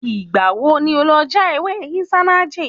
Ìgbà wo ni o lọ já ewé Isanaje?